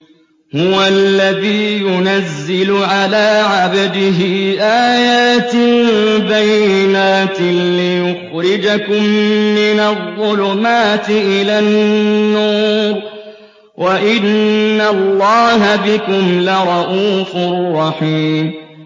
هُوَ الَّذِي يُنَزِّلُ عَلَىٰ عَبْدِهِ آيَاتٍ بَيِّنَاتٍ لِّيُخْرِجَكُم مِّنَ الظُّلُمَاتِ إِلَى النُّورِ ۚ وَإِنَّ اللَّهَ بِكُمْ لَرَءُوفٌ رَّحِيمٌ